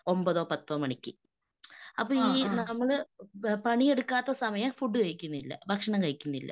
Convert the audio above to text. ഒൻപതോ പത്തോ മണിക്ക്. അപ്പൊ ഈ നമ്മള് പണിയെടുക്കാത്ത സമയം ഫുഡ് കഴിക്കുന്നില്ല. ഭക്ഷണം കഴിക്കുന്നില്ല.